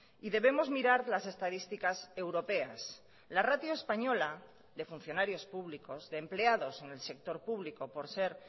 y debemos mirar las estadísticas europeas la ratio española de funcionarios públicos de empleados en el sector público por ser